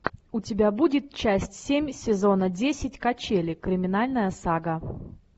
у тебя будет часть семь сезона десять качели криминальная сага